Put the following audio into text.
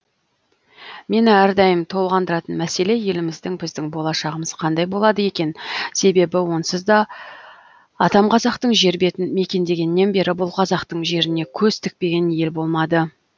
мені әрдайым толғандыратын мәселе еліміздің біздің болашағымыз қандай болады екен себебі онсызда атам қазақтың жер бетін мекендегеннен бері бұл қазақтың жеріне көз тікпеген ел болмады